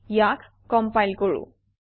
ইয়াক কমপাইল কৰোঁ